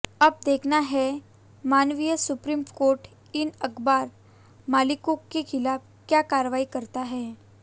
अब देखना है माननीय सुप्रीम कोर्ट इन अखबार मालिकों के खिलाफ क्या कार्रवाई करता है